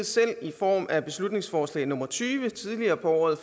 selv i form af beslutningsforslag nummer b tyve tidligere på året